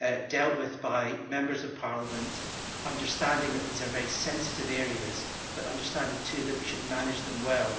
dealt with by Members of Parliament, understanding that these are very sensitive areas, but understanding too that we should manage them well.